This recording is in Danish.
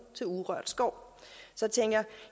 til urørt skov så